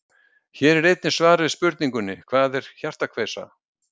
Hér er einnig svar við spurningunni Hvað er hjartakveisa?